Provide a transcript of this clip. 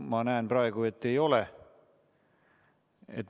Ma näen praegu, et ei ole.